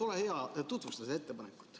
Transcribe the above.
Ole hea, tutvusta seda ettepanekut.